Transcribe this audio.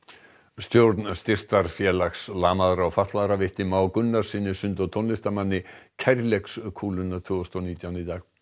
stjórn Styrktarfélags lamaðra og fatlaðra veitti Má Gunnarssyni sund og tónlistarmanni tvö þúsund og nítján